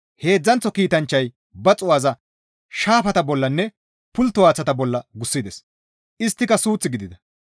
Heedzdzanththo kiitanchchay ba xuu7aza shaafata bollanne pultto haaththata bolla gussides; isttika suuth gidida.